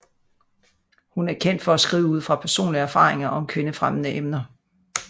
Hun er kendt for at skrive ud fra personlige erfaringer og om kvindefremmende emner